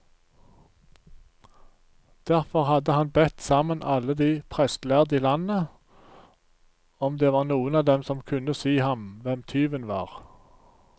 Derfor hadde han bedt sammen alle de prestlærde i landet, om det var noen av dem som kunne si ham hvem tyven var.